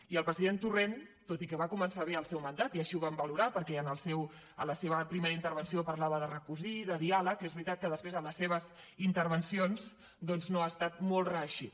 i el president torrent tot i que va començar bé el seu mandat i així ho vam valorar perquè a la seva primera intervenció parlava de recosir i de diàleg és veritat que després en les seves intervencions doncs no ha estat molt reeixit